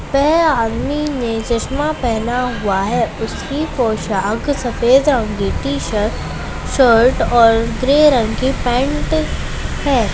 वह आदमी ने चश्मा पेहना हुआ है उसकी पोशाक सफेद रंग की टी शर्ट शर्ट और ग्रे रंग की पैंट है।